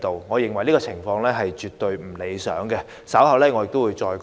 我認為這情況絕不理想，稍後我會再作解釋。